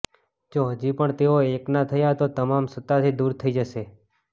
જો હજી પણ તેઓ એક ના થયા તો તમામ સત્તાથી દૂર થઈ જશે